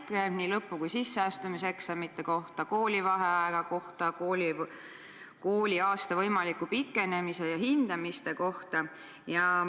Küsiti nii lõpu- kui ka sisseastumiseksamite kohta, koolivaheaja kohta, kooliaasta võimaliku pikenemise ja hindamiste kohta.